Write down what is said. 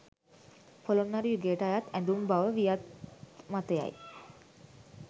පොළොන්නරු යුගයට අයත් ඇඳුම් බව වියත් මතය යි.